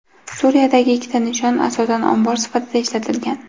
Suriyadagi ikkita nishon asosan ombor sifatida ishlatilgan.